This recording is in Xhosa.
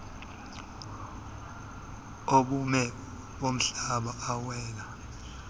obume bomhlaba awela